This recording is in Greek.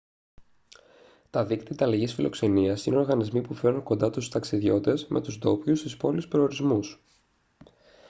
τα δίκτυα ανταλλαγής φιλοξενίας είναι οργανισμοί που φέρνουν κοντά τους ταξιδιώτες με τους ντόπιους στις πόλεις-προορισμούς